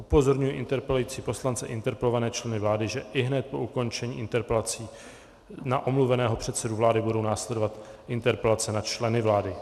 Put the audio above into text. Upozorňuji interpelující poslance i interpelované členy vlády, že ihned po ukončení interpelací na omluveného předsedu vlády budou následovat interpelace na členy vlády.